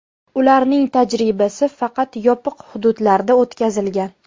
Ularning tajribasi faqat yopiq hududlarda o‘tkazilgan.